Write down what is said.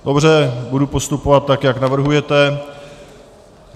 Dobře, budu postupovat tak, jak navrhujete.